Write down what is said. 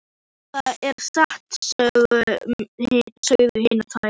Jú, það er satt, sögðu hinar tvær.